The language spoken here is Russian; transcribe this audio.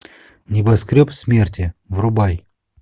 небоскреб смерти врубай